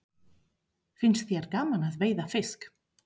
Finnst þér gaman að veiða fisk?